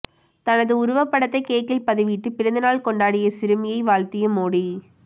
தனது உருவபடத்தை கேக்கில் பதிவிட்டு பிறந்த நாள் கொண்டாடிய சிறுமியை வாழ்த்திய மோடி